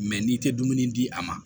Mɛ n'i tɛ dumuni di a ma